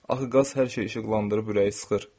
Axı qaz hər şeyi işıqlandırıb ürəyi sıxır.